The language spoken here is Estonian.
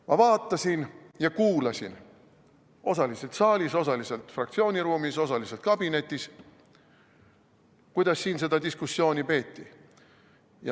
Ma vaatasin ja kuulasin – osaliselt saalis, osaliselt fraktsiooni ruumis, osaliselt kabinetis –, kuidas seda diskussiooni peeti.